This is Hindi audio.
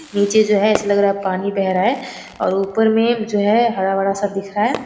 जो चीज है ऐसा लग रहा है पानी बह रहा है और ऊपर में जो है हरा-भरा सा दिख रहा है।